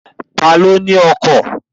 Ta ló ní ọkọ̀?